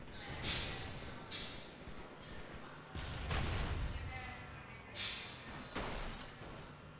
glass ல அப்டி எல்லாம் வச்சிருக்கோம். உங்களுக்கு normal ல உள்ள room வேணுமா? இல்லாட்டா நம்ம decoration பண்ண room எதாவது வேணுமா ma'am